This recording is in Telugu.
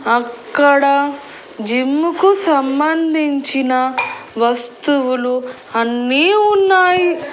అక్కడ జిమ్ముకు సంబంధించిన వస్తువులు అన్నీ ఉన్నాయి.